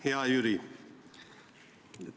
Hea Jüri!